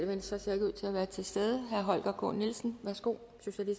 venstre ser ikke ud til at være til stede herre holger k nielsen socialistisk værsgo